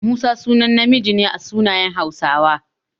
Musa sunan namiji ne a sunayen Hausawa.